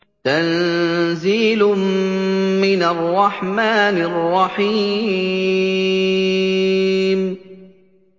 تَنزِيلٌ مِّنَ الرَّحْمَٰنِ الرَّحِيمِ